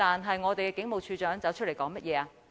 可是，我們的警務處處長站出來說甚麼？